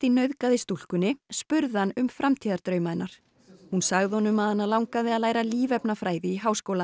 nauðgaði stúlkunni spurði hann um framtíðardrauma hennar hún sagði honum að hana langaði að læra lífefnafræði í háskóla